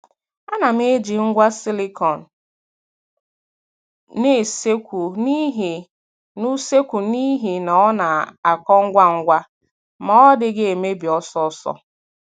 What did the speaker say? A na m eji ngwa silicone n'useekwu n'ihi n'useekwu n'ihi na ọ na - akọ ngwa ngwa ma ọ dịghị emebi ọsọọsọ.